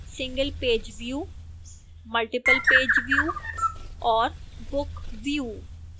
singlepage view multiplepage view और book view